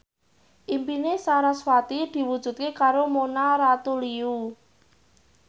impine sarasvati diwujudke karo Mona Ratuliu